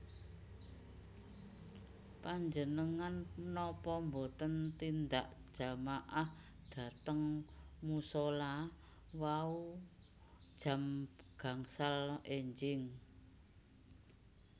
Panjenengan nopo mboten tindak jamaah dhateng musola wau jam gangsal enjing?